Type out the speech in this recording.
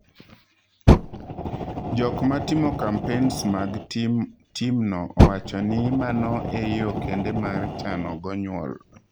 Jok matimo kampens mag tim no owacho ni mano e yoo kende mar chano go nyuol.